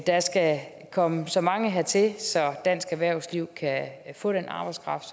der skal komme så mange hertil at dansk erhvervsliv kan få den arbejdskraft